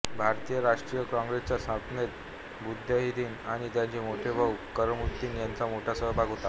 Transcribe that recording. भारतीय राष्ट्रीय कॉंग्रेसच्या स्थापनेत बद्रुद्दीन आणि त्यांचे मोठे भाऊ कमरुद्दीन यांचा मोठा सहभाग होता